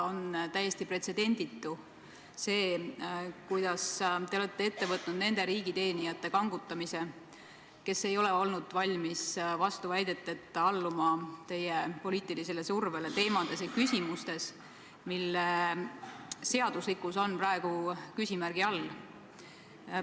On täiesti pretsedenditu see, kuidas te olete ette võtnud nende riigiteenijate kangutamise, kes ei ole olnud valmis vastuväideteta alluma teie poliitilisele survele küsimustes, mille seaduslikkus on praegu küsimärgi all.